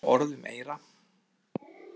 Oft þýtur orð um eyra.